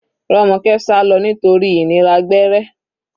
Romoke sálọ nítorí ìnira gbẹ́rẹ́.